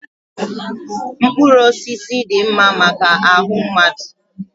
mkpụrụ osisi dị mma maka ahụ mmadụ